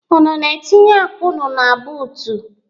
Unu na-etiny akpa unu na buutu?